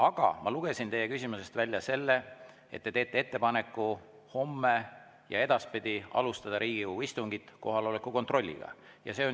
Aga ma lugesin teie küsimusest välja selle, et te teete ettepaneku homme ja edaspidi alustada Riigikogu istungit kohaloleku kontrolliga.